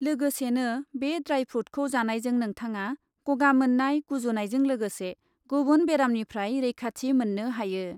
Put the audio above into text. लोगोसेनो बे ड्राइ फ्रुटखौ जानायजों नोंथाङा गगा मोननाय, गुजुनायजों लोगोसे गुबुन बेरामनिफ्राय रैखाथि मोननो हायो।